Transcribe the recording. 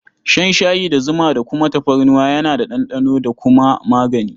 Shan shayi da zuma da kuma tafarnuwa yana da ɗanɗano da kuma magani.